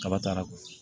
Kaba taara